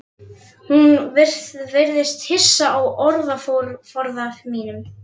Hún virðist hissa á orðaforða mínum.